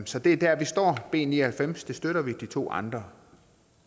så det er der vi står b ni og halvfems støtter vi de to andre